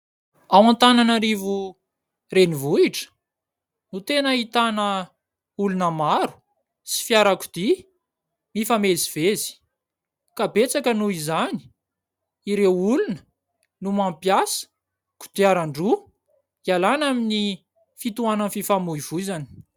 Ao Antananarivo renivohitra no tena ahitana olona maro, sy fiarakodia mifamezivezy. Ka betsaka noho izany ireo olona no mampiasa kodiarandroa hialàna amin'ny fitoanan'ny fifamoivoizana.